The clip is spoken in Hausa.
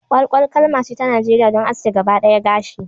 Kwalkwal kalma ce ta Najeriya don aske gaba ɗawa gashi